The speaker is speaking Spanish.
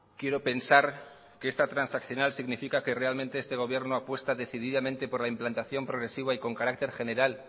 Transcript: quiero pensar que esta transaccional significa que realmente este gobierno apuesta decididamente por la implantación progresiva y con carácter general